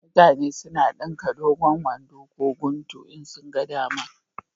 Mutane na dinka dogon wando ko guntu in sun ga dama